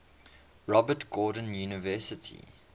robert gordon university